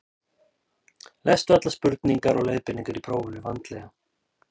Lestu allar spurningar og leiðbeiningar í prófinu vandlega.